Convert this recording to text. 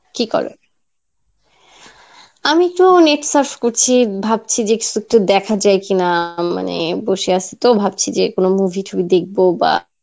কি করো? আমি একটু net surf করছি, ভাবছি যে দেখাযায় কি না মানে বসে আছি তো ভাবছি যে কোনো movie টুবি দেখবো বা,